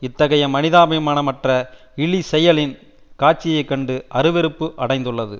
இத்தகைய மனிதாபிமானமற்ற இழி செயலின் காட்சியை கண்டு அருவெறுப்பு அடைந்துள்ளது